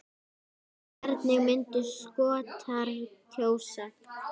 Hvernig myndu Skotar kjósa?